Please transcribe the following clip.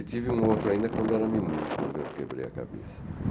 E tive um outro ainda quando era menino, quando eu quebrei a cabeça.